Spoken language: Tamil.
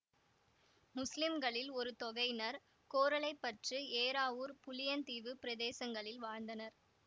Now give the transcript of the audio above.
முஸ்லிம்களில் ஒரு தொகையினர் கோரளைப்பற்று ஏறாவூர் புளியந்தீவு பிரதேசங்களில் வாழ்ந்தனர்